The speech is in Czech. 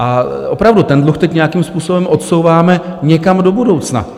A opravdu, ten dluh teď nějakým způsobem odsouváme někam do budoucna.